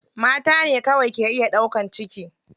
Mata ne kawai ke iya ɗaukan ciki.